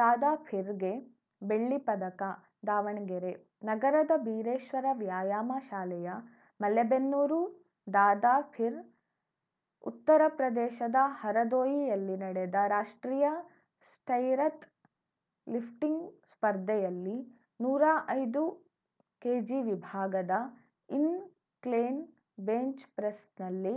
ದಾದಾಪೀರ್‌ಗೆ ಬೆಳ್ಳಿ ಪದಕ ದಾವಣಗೆರೆ ನಗರದ ಬೀರೇಶ್ವರ ವ್ಯಾಯಾಮ ಶಾಲೆಯ ಮಲೆಬೆನ್ನೂರು ದಾದಾಪೀರ್‌ ಉತ್ತರ ಪ್ರದೇಶದ ಹರದೋಯಿಯಲ್ಲಿ ನಡೆದ ರಾಷ್ಟ್ರೀಯ ಸ್ಟೈರಥ್ ಲಿಫ್ಟಿಂಗ್‌ ಸ್ಪರ್ಧೆಯಲ್ಲಿ ನೂರಾ ಐದು ಕೆಜಿ ವಿಭಾಗದ ಇನ್‌ಕ್ಲೇನ್‌ ಬೆಂಚ್‌ಪ್ರೆಸ್‌ನಲ್ಲಿ